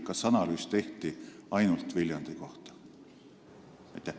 Kas teine analüüs tehti ainult Viljandi kohta?